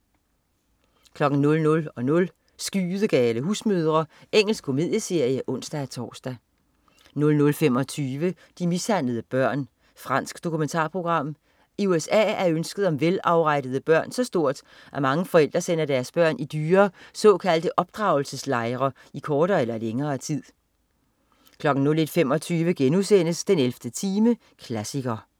00.00 Skydegale husmødre. Engelsk komedieserie (ons-tors) 00.25 De mishandlede børn. Fransk dokumentarprogram. I USA er ønsket om velafrettede børn så stort, at mange forældre sender deres børn i dyre, såkaldte opdragelseslejre i kortere eller længere tid 01.25 den 11. time, klassiker*